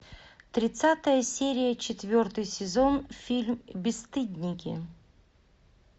тридцатая серия четвертый сезон фильм бесстыдники